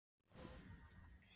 En hver er svo dagskrárstefnan?